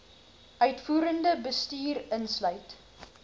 uitvoerende bestuur insluit